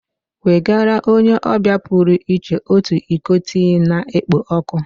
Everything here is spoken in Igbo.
Nwegara onye ọbịa pụrụ iche otu iko tii na-ekpo ọkụ